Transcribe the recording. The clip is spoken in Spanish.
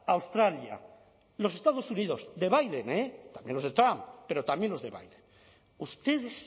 australia los estados unidos biden eh también los de trump pero también los de biden ustedes